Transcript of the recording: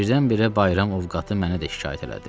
Birdən-birə bayram ovqatı mənə də şikayət elədi.